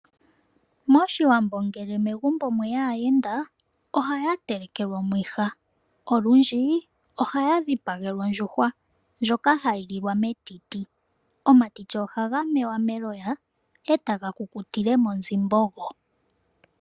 MOshiwambo ngele megumbo mweya aayenda, ohaya telekelwa omwiha. Olundji ohaya dhipagelwa ondjuhwa, ndjoka hayi lilwa metiti. Omatiti ohaga mewa meloya, e taga kukutile monzimbogo.